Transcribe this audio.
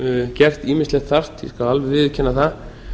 gert ýmislegt þarft ég skal alveg viðurkenna það